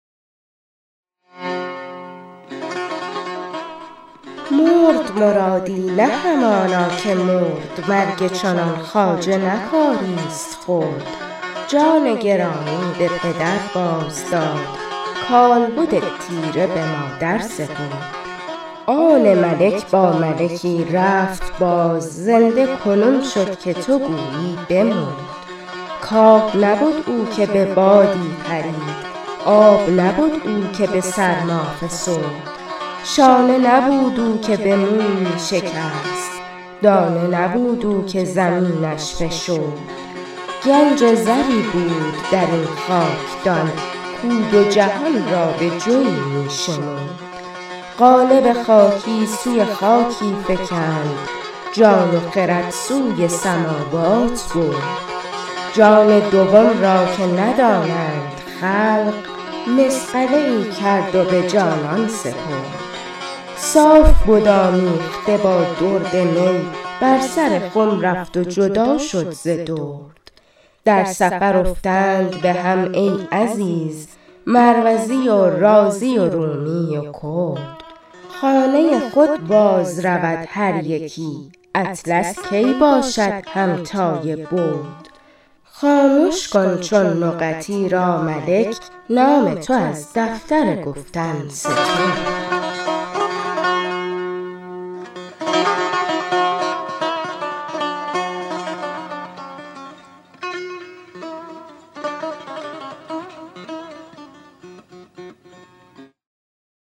مرد مرادی نه همانا که مرد مرگ چنان خواجه نه کاری ست خرد جان گرامی به پدر باز داد کالبد تیره به مادر سپرد آن ملک با ملکی رفت باز زنده کنون شد که تو گویی بمرد کاه نبد او که به بادی پرید آب نبد او که به سرما فسرد شانه نبود او که به مویی شکست دانه نبود او که زمینش فشرد گنج زری بود در این خاکدان که او دو جهان را به جوی می شمرد قالب خاکی سوی خاکی فکند جان و خرد سوی سماوات برد جان دوم را که ندانند خلق مصقله ای کرد و به جانان سپرد صاف بد آمیخته با درد می بر سر خم رفت و جدا شد ز درد در سفر افتند به هم ای عزیز مروزی و رازی و رومی و کرد خانه خود بازرود هر یکی اطلس کی باشد همتای برد خامش کن چون نقط ایرا ملک نام تو از دفتر گفتن سترد